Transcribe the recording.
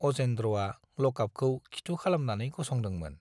अजेन्द्रआ लकआपखौ खिथु खालामनानै गसंदोंमोन।